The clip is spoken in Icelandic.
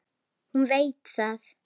Hún veit það.